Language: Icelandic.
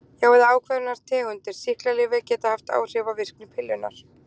Já, ákveðnar tegundir sýklalyfja geta haft áhrif á virkni pillunnar.